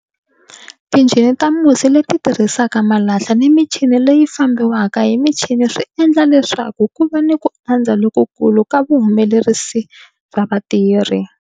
Tinjhini ta musi leti tirhisaka malahla ni michini leyi fambiwaka hi michini swi endle leswaku ku va ni ku andza lokukulu ka vuhumelerisi bya vatirhi.